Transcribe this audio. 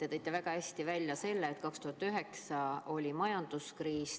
Te tõite väga hästi välja selle, et 2009 oli majanduskriis.